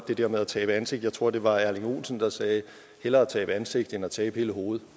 det der med at tabe ansigt tror det var erling olsen der sagde hellere tabe ansigt end at tabe hele hovedet